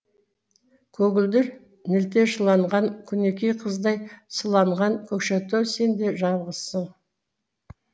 көгілдір нілде шыланған күнікей қыздай сыланған көкшетау сен де жалғызсың